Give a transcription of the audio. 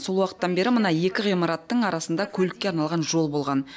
сол уақыттан бері мына екі ғимараттың арасында көлікке арналған жол болған